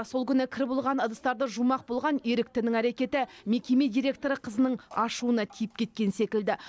сол күні кір болған ыдыстарды жумақ болған еріктінің әрекеті мекеме директоры қызының ашуына тиіп кеткен секілді